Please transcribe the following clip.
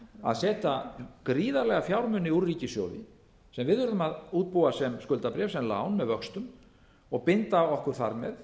að setja gríðarlega fjármuni úr ríkissjóði sem við erum að útbúa sem skuldabréf sennilega án með vöxtum og binda okkur þar með